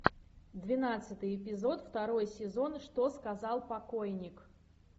двенадцатый эпизод второй сезон что сказал покойник